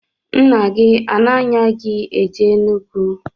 Nna gi ana-anya gi eje n'Enugwu?